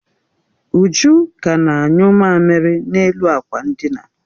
Uju ka na-anyụ mamiri n'elu akwa ndina